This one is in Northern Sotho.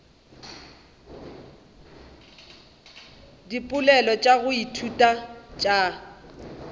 dipoelo tša go ithuta tša